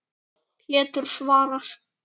Pétur svarar.